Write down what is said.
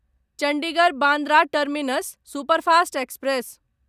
Chandigarh Bandra terminus superfast express